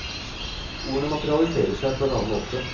Ordene materialiserer seg på en annen måte.